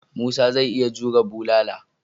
Musa zai iya jure bulala.